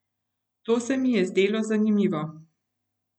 To se mi je zdelo zanimivo.